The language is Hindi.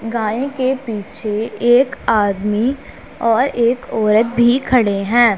गाय के पीछे एक आदमी और एक औरत भी खड़े हैं।